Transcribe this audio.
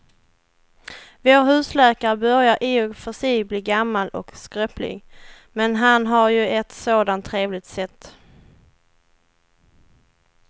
Vår husläkare börjar i och för sig bli gammal och skröplig, men han har ju ett sådant trevligt sätt!